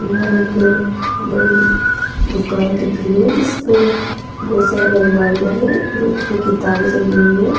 यह एक बड़ी दुकान दिख रही है जिसपे बहुत सारी अलमारियां हैं और उसमें किताबें जमी हुई हैं।